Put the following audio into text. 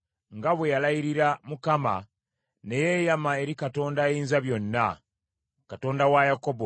Nga bwe yalayirira Mukama , ne yeeyama eri Katonda Ayinzabyonna, Katonda wa Yakobo,